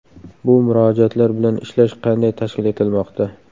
Bu murojaatlar bilan ishlash qanday tashkil etilmoqda?